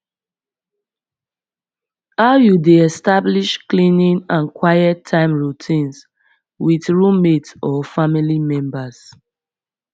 how you dey establish cleaning and quiet time routines with roommate or family members